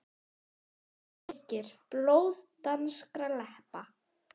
JÓN BEYKIR: Blóð danskra leppa!